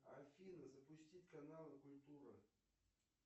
афина запустить каналы культура